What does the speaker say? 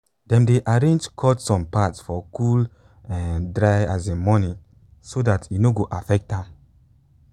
dem dey arrange cut some part for cool um dry asin morning so that e no go affect am